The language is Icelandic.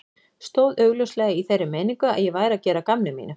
Stóð augljóslega í þeirri meiningu að ég væri að gera að gamni mínu.